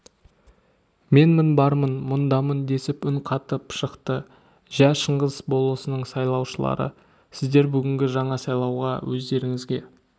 менмін бармын мұндамын десіп үн қатып шықты жә шыңғыс болысының сайлаушыларв сіздер бүгінгі жаңа сайлауда өздеріңізге